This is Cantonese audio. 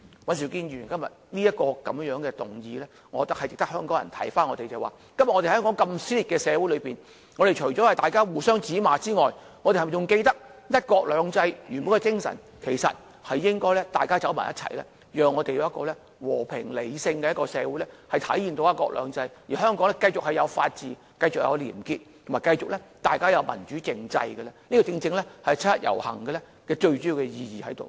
尹兆堅議員今天提出的議案，值得香港人思考現時香港社會如此撕裂，大家在互相指罵之餘，是否還記得"一國兩制"原本的精神是要大家走在一起，建立和平、理性的社會，體現"一國兩制"，並讓香港繼續有法治、廉潔、民主政制，而這才是七一遊行最重要的意義。